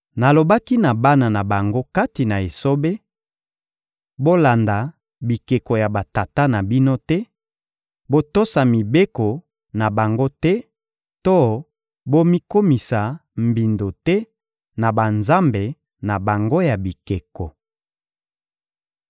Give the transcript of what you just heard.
Nalobaki na bana na bango kati na esobe: ‘Bolanda bikeko ya batata na bino te, botosa mibeko na bango te to bomikomisa mbindo te na banzambe na bango ya bikeko!